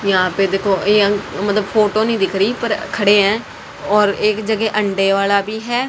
यहां पे देखो मतलब फोटो नहीं दिख रही खड़े हैं और एक जगह अंडे वाला भी है।